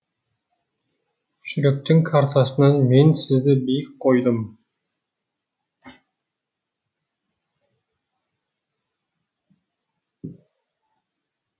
жүректің картасынан мен сізді биік қойдым